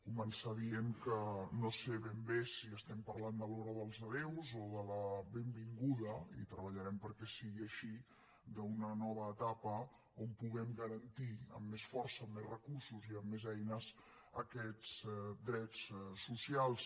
començar dient que no sé ben bé si estem parlant de l’hora dels adéus o de la benvinguda i treballarem perquè sigui així d’una nova etapa on puguem garantir amb més força amb més recursos i amb més eines aquests drets socials